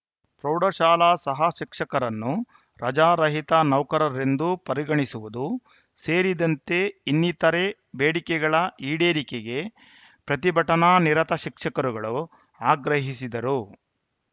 ಪ್ರೌಢಶಾಲಾ ಸಹಶಿಕ್ಷಕರನ್ನು ರಜಾರಹಿತ ನೌಕರರೆಂದು ಪರಿಗಣಿಸುವುದು ಸೇರಿದಂತೆ ಇನ್ನಿತರೆ ಬೇಡಿಕೆಗಳ ಈಡೇರಿಕೆಗೆ ಪ್ರತಿಭಟನಾನಿರತ ಶಿಕ್ಷಕರುಗಳು ಆಗ್ರಹಿಸಿದರು